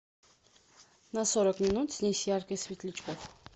на сорок минут снизь яркость светлячков